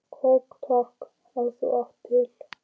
Kók takk, ef þú átt það til!